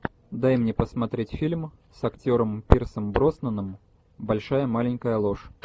дай мне посмотреть фильм с актером пирсом броснаном большая маленькая ложь